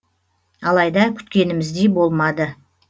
алайда күткеніміздей болмады